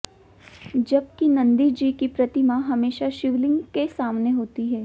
जब कि नंदी जी की प्रतिमा हमेशा शिवलिंग के सामने होती है